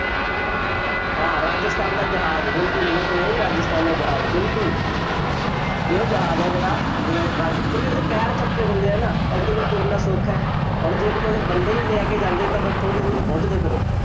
ਹਾਂ, ਰਾਜਸਥਾਨ ਦਾ ਜਹਾਜ਼, ਬਿਲਕੁੱਲ, ਊਠ ਨਹੀਂ ਰਾਜਸਥਾਨ ਦ ਜਹਾਜ਼ ਬਿਲਕੁੱਲ ਇਹ ਉਹ ਜਹਾਜ਼ ਹੈ ਜਿਹੜਾ ਰ~ ਕਿਉਂਕਿ ਉਹਦੇ ਪੈਰ ਚਪਟੇੇ ਹੁੰਦੇ ਹੈ ਨਾ, ਤਾਂ ਉਸਦੇ ਲਈ ਤੁਰਨਾ ਸੌਖਾ ਹੈ। ਹੁਣ ਜੇ ਕਿਤੇ ਉਹਦੇ ਬੰਦੇ ਹੀ ਲੈ ਕੇ ਜਾਂਦੇ ਤਾਂ ਬਸ ਥੋੜ੍ਹੀ ਦੂਰ ਹੀ ਪਹੁੰਚਦੇ ਫੇਰ ਉਹ।